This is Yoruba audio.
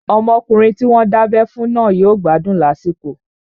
Ọmọkùnrin tí wọ́n dábẹ́ fún náà yóò gbádùn lásìkò